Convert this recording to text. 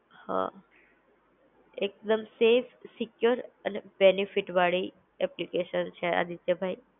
હા, એક દમ, સેફ સિક્યોર અને બેનેફિટ વાળી એપ્લિકેશન છે આ રીતે ભાઈ